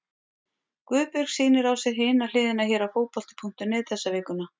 Guðbjörg sýnir á sér Hina hliðina hér á Fótbolti.net þessa vikuna.